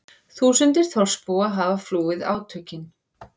Þúsundir þorpsbúa hafa flúið átökin